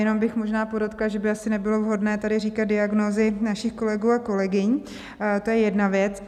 Jenom bych možná podotkla, že by asi nebylo vhodné tady říkat diagnózy našich kolegů a kolegyň, to je jedna věc.